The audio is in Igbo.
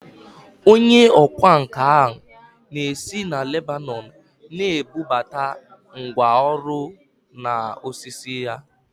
Onye ọkwá nkà ahụ na-esi na Lebanọn na-ebubata ngwá ọrụ na osisi ya